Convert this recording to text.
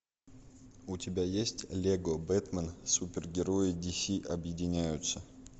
у тебя есть лего бэтмен супер герои ди си объединяются